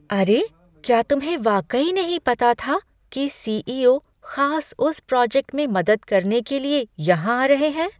अरे, क्या तुम्हें वाकई नहीं पता था कि सी.ई.ओ. खास उस प्रोजेक्ट में मदद करने के लिए यहाँ आ रहे हैं?